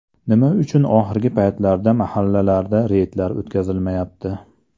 Nima uchun oxirgi paytlarda mahallalarda reydlar o‘tkazilmayapti?